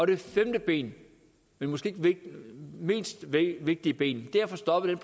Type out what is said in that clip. det femte ben måske ikke det mindst vigtige ben er at få stoppet den